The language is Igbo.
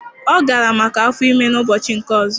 Ọ gara maka afọ ime ụbọchị nke ọzọ